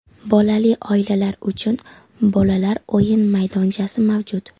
Bolali oilalar uchun bolalar o‘yin maydonchasi mavjud.